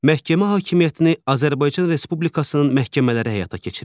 Məhkəmə hakimiyyətini Azərbaycan Respublikasının məhkəmələri həyata keçirir.